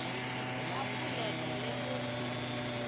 ka boleta le go se